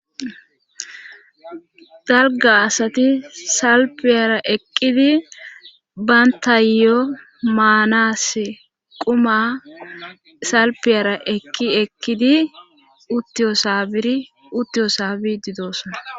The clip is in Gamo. Dalga asati salpiyara eqqidi bantayo maanaas quma salpiyara eqqi eqkidi iruttiyosaabidi doosona